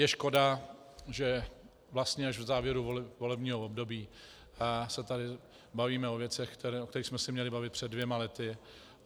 Je škoda, že vlastně až v závěru volebního období se tady bavíme o věcech, o kterých jsme se měli bavit před dvěma lety.